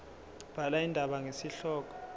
bhala indaba ngesihloko